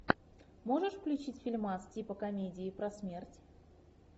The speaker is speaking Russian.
можешь включить фильмас типа комедии про смерть